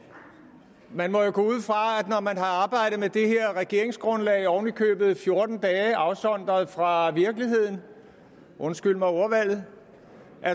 når man har arbejdet med det her regeringsgrundlag oven i købet i fjorten dage afsondret fra virkeligheden undskyld mig ordvalget